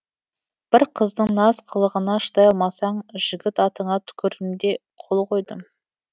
бір қыздың наз қылығына шыдай алмасаң жігіт атыңа түкірдім де қол қойдым